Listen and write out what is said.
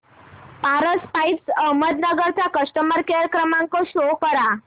Paras pipes Ahmednagar चा customer care क्रमांक show करा